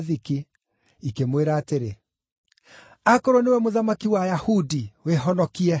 ikĩmwĩra atĩrĩ, “Akorwo nĩwe Mũthamaki wa Ayahudi, wĩhonokie.”